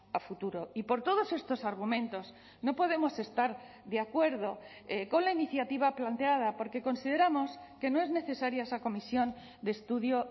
a futuro y por todos estos argumentos no podemos estar de acuerdo con la iniciativa planteada porque consideramos que no es necesaria esa comisión de estudio